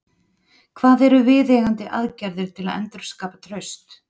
Hvað eru viðeigandi aðgerðir til að endurskapa traust?